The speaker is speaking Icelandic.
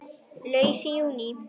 Laus í júní